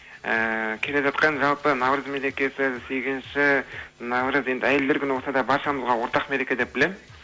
ыыы келе жатқан жалпы наурыз мерекесі сегізінші наурыз енді әйелдер күні болса да баршамызға ортақ мереке деп білемін